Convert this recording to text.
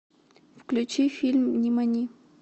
включи фильм нимани